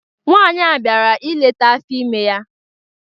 Nwaanyị bịara ileta afọ ime ya.